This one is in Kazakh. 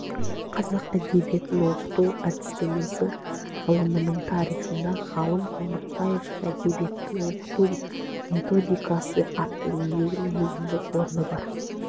қазақ әдебиетін оқыту әдістемесі ғылымының тарихында ғалым қоңыратбаевтың әдебиетті оқыту методикасы атты еңбегінің өзіндік орны бар